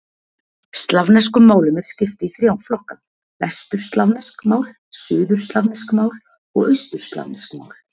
Slavneskum málum er skipt í þrjá flokka: vesturslavnesk mál, suðurslavnesk mál og austurslavnesk mál.